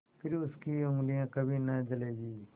फिर उनकी उँगलियाँ कभी न जलेंगी